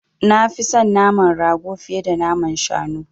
Nafi son naman rago fiye da naman shanu.